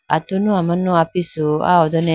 atunu amanu apisu aya hodone.